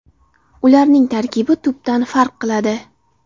Ularning tarkibi tubdan farq qiladi.